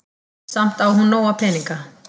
Samt á hún nóga peninga.